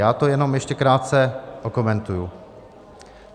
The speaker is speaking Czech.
Já to jenom ještě krátce okomentuji.